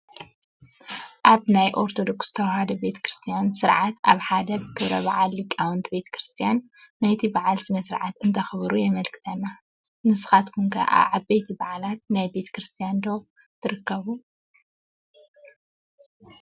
ኣብ ናይ ኦርቶዶክስ ተዋህዶ ቤተ ክርስትያን ስርዓት ኣብ ሓደ ክብረ በዓል ሊቃውንቲ ቤተ ክርስትያን ናይቲ በዓል ስነ ስርዓት እንተኽብሩ የመልክተና፡፡ ንስኻትኩም ከ ኣብ ዓበይቲ በዓላት ናይ ቤተ ክርስትያን ዶ ትርከቡ?